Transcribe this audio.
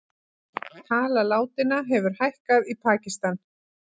Tala látinna hefur hækkað í Pakistan